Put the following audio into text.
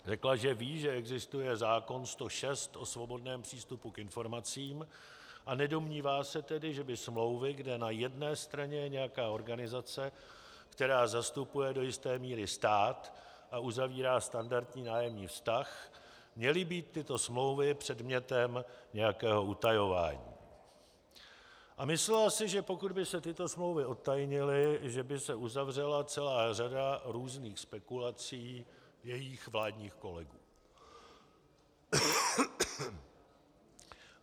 Řekla, že ví, že existuje zákon 106 o svobodném přístupu k informacím, a nedomnívá se tedy, že by smlouvy, kde na jedné straně je nějaká organizace, která zastupuje do jisté míry stát a uzavírá standardní nájemní vztah, měly být tyto smlouvy předmětem nějakého utajování, a myslela si, že pokud by se tyto smlouvy odtajnily, že by se uzavřela celá řada různých spekulací jejích vládních kolegů.